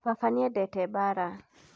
Baba nĩendete mbara